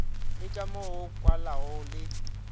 le kamo go kwalago le